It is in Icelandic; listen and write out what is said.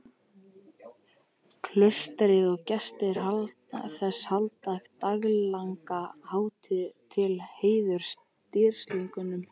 Klaustrið og gestir þess halda daglanga hátíð til heiðurs dýrlingnum.